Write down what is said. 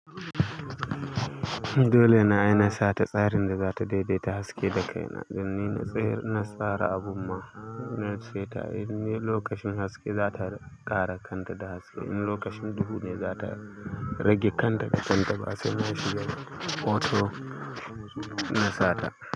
Dole na yi nasa ta tsarin da za ta daidaita haske da kaina. Don nina tsara abu ma, na ce ta in lokacin haske za ta ƙara kanta da haske, in lokacin duhu ne za ta rage kanta da kanta. Ba sai na shiga auto na sata.